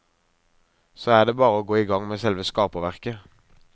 Så er det bare å gå i gang med selve skaperverket.